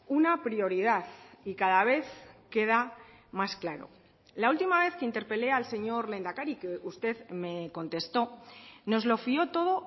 una prioridad y cada vez queda más claro la última vez que interpelé al señor lehendakari que usted me contestó nos lo fió todo